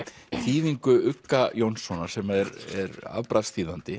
þýðingu ugga Jónssonar sem er